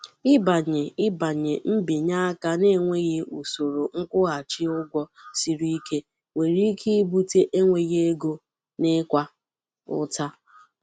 Ịbanye Ịbanye mbinye aka na-enweghị usoro nkwụghachi ụgwọ siri ike nwere ike ibute enweghị ego na ịkwa ụta.